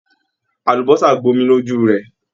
Àlùbọ́sà gbomi lójú rẹ ẹ.